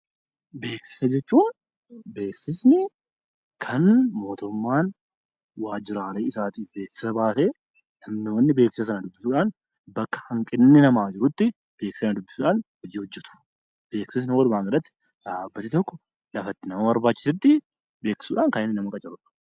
Beeksisa jechuun beeksisni kan mootummaan waajjiraalee isaatiif beeksisa baasee kan namoonni beeksisan, duraan bakka hanqinni namaa jirutti beeksisa sana dubbisuudhaan hojii hojjetu. Beeksisa barbaanne irratti dhaabbati tokko lafa itti nama barbaachisutti beeksisuudhaan kan inni nama qacarudha.